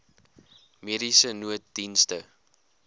mediese nooddienste